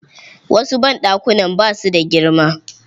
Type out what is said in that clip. Wasu banɗakunan ba su da girma.